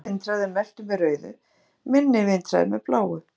Mesti vindhraði er merktur með rauðu, minni vindhraði með bláu.